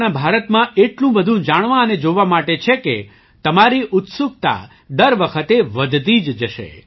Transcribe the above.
આપણા ભારતમાં એટલું બધું જાણવા અને જોવા માટે છે કે તમારી ઉત્સુકતા દર વખતે વધતી જ જશે